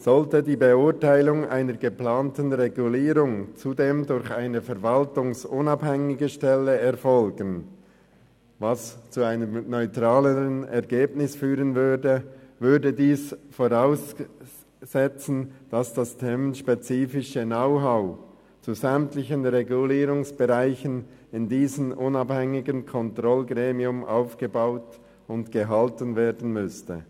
Sollte die Beurteilung einer geplanten Regulierung zudem durch eine verwaltungsunabhängige Stelle erfolgen – was zu einem neutraleren Ergebnis führen würde –, würde dies voraussetzen, dass das themenspezifische Know-how zu sämtlichen Regulierungsbereichen in diesen unabhängigen Kontrollgremien aufgebaut und gehalten werden müsste.